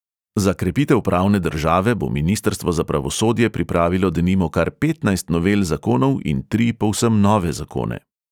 Za krepitev pravne države bo ministrstvo za pravosodje pripravilo denimo kar petnajst novel zakonov in tri povsem nove zakone.